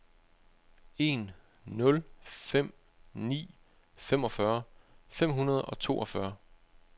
en nul fem ni femogfyrre fem hundrede og toogfyrre